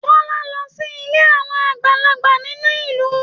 Tọ́lá lọ sí ilé àwọn àgbàlagbà nínú ìlú.